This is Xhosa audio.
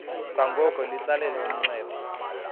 kwangoko litsalele umnxeba